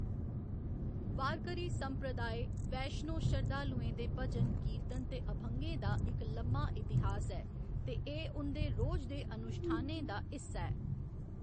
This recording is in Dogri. वारकरी संप्रदाय, वैश्णों शरधालुएं दे भजन, कीर्तन ते अभंगें दा इक लम्मा इतिहास ऐ ते एह्‌‌ उं'दे रोज दे अनुश्ठानें दा हिस्सा ऐ।